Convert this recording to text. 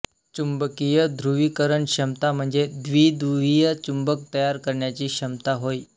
चुंबकीय ध्रुवीकरण क्षमता म्हणजे द्विध्रुवीय चुंबक तयार करण्याची क्षमता होय